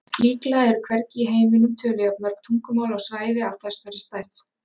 Líklega eru hvergi í heiminum töluð jafn mörg tungumál á svæði af þessari stærð.